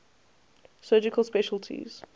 surgical specialties